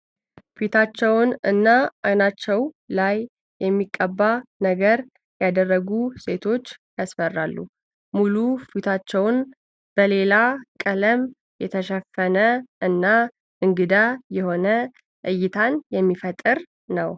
ፊታችውን እና አይናቸው ላይ የሚቀባ ነገር ያደረጉት ሴቶች ያስፈራሉ። ሙሉ ፊታቸው በሌላ ቀለም የተሸፈነ እና እንግዳ የሆነ እይታን የሚፈጥር ነው።